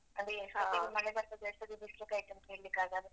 ಅದೇ ಹಾ ಎಷ್ಟೋತಿಗ್ ಮಳೆ ಬರ್ತದೆ ಎಷ್ಟೋತಿಗ್ ಬಿಸ್ಲು ಕಾಯ್ತದಂತ ಹೇಳಿಕ್ಕಾಗಲ್ಲ.